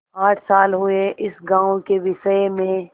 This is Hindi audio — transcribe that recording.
आठ साल हुए इस गॉँव के विषय में